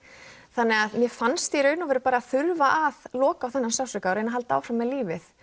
þannig að mér fannst þurfa að loka á þennan sársauka og reyna að halda áfram með lífið